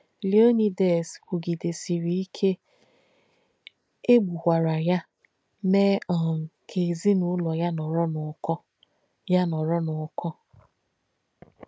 Leōnídēs kwùgidēsìrī ìke, è gbùkwàrà yà, mèē um kà èzín’ùlọ̀ yà nọ̀rọ̀ n’ùkọ̀. yà nọ̀rọ̀ n’ùkọ̀.